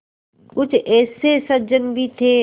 कुछ ऐसे सज्जन भी थे